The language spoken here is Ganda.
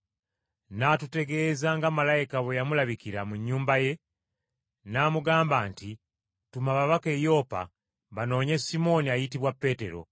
N’atutegeeza nga malayika bwe yamulabikira mu nnyumba ye, n’amugamba nti, ‘Tuma ababaka e Yopa banoonye Simooni ayitibwa Peetero,